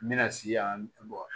N bɛna si yan